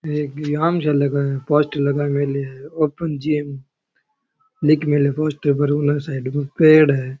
एक ये आम जो लगा है पोस्टर लगा मेळे हैं ओपन जैम लिख मेळो है पोस्टर पर साइड कोई पेड़ है।